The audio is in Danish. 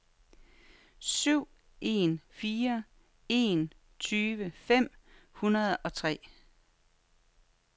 syv en fire en tyve fem hundrede og tre